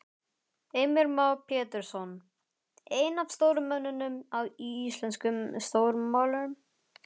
Heimir Már Pétursson: Einn af stóru mönnunum í íslenskum stjórnmálum?